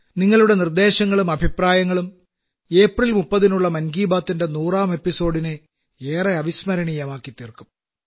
നിങ്ങളുടെ നിർദ്ദേശങ്ങളും അഭിപ്രായങ്ങളും ഏപ്രിൽ 30 നുള്ള മൻ കി ബാത്തിന്റെ നൂറാം എപ്പിസോഡിനെ ഏറെ അവിസ്മരണീയമാക്കിത്തീർക്കും